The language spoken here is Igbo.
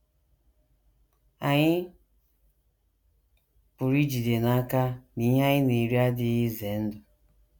Ànyị pụrụ ijide n’aka na ihe anyị na - eri adịghị ize ndụ?